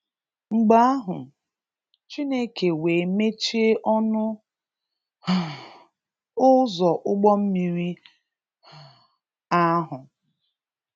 Mgbe ahụ, Chineke wee mechie ọnụ um ụzọ ụgbọ mmiri um ahụ